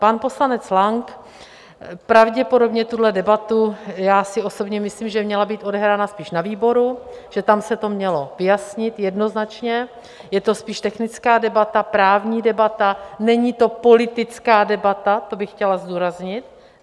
Pan poslanec Lang pravděpodobně tuhle debatu, já si osobně myslím, že měla být odehrána spíš na výboru, že tam se to mělo vyjasnit jednoznačně, je to spíš technická debata, právní debata, není to politická debata, to bych chtěla zdůraznit.